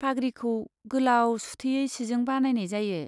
पाग्रिखौ गोलाव सुथेयै सिजों बानायनाय जायो।